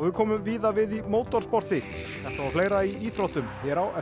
og við komum víða við í mótorsporti þetta og fleira í íþróttum hér á eftir